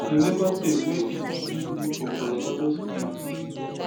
e neva tey wey e begin live for colorado springs